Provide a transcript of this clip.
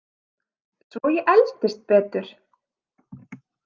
Svo ég eldist betur!